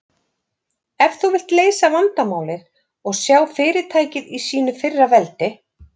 Ef þú vilt leysa vandamálið og sjá fyrirtækið í sínu fyrra veldi?